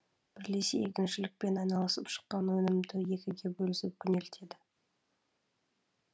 бірлесе егіншілікпен айналысып шыққан өнімді екіге бөлісіп күнелтеді